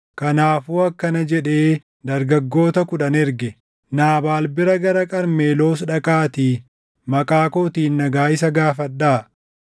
Kanaafuu akkana jedhee dargaggoota kudhan erge; “Naabaal bira gara Qarmeloos dhaqaatii maqaa kootiin nagaa isa gaafadhaa.